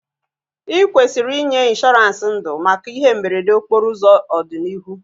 I kwesịrị inwe ịnshọransị ndụ maka ihe mberede okporo ụzọ n'ọdịnihu